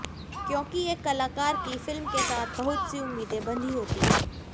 क्योंकि एक कलाकार की फिल्म के साथ बहुत सी उम्मीदें बंधी होती हैं